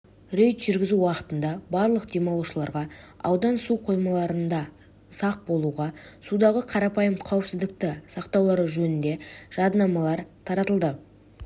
рейд жүргізу уақытында барлық демалушыларға аудан суқоймаларында сақ болуға судағы қарапайым қауіпсіздікті сақтаулары жөнінде жадынамалар таратылды